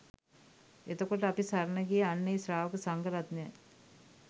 එතකොට අපි සරණ ගියේ අන්න ඒ ශ්‍රාවක සංඝරත්නයයි